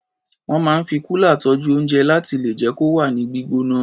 Wọ́n máa ń fi kúlà tọ́jú oúnjẹ láti lè jẹ́ kó wà ní gbígbóná.